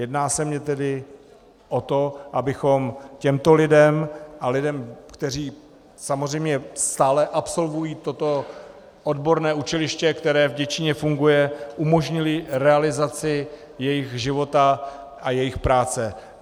Jedná se mi tedy o to, abychom těmto lidem a lidem, kteří samozřejmě stále absolvují toto odborné učiliště, které v Děčíně funguje, umožnili realizaci jejich života a jejich práce.